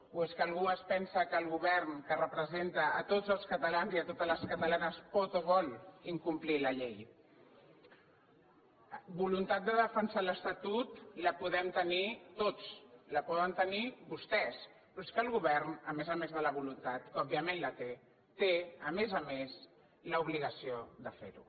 o és que algú es pensa que el govern que representa tots els catalans i totes les catalanes pot o vol incomplir la llei voluntat de defensar l’estatut la podem tenir tots la poden tenir vostès però és que el govern a més a més de la voluntat que òbviament la té té a més a més l’obligació de fer ho